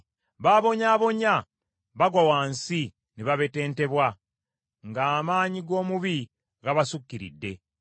B’abonyaabonya bagwa wansi ne babetentebwa ng’amaanyi g’omubi gabasukkiridde.